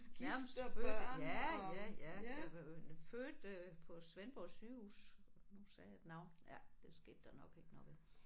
Nærmest født ja ja ja jeg fødte på Svendborg Sygehus nu sagde jeg et navn det skete der nok ikke noget ved